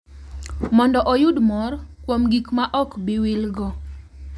Mondo oyud mor kuom gik ma ok bi wilgo.